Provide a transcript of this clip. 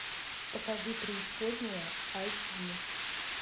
покажи преисподняя айч ди